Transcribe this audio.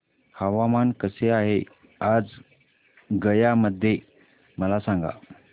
हवामान कसे आहे आज गया मध्ये मला सांगा